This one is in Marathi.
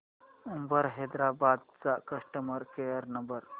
उबर हैदराबाद चा कस्टमर केअर नंबर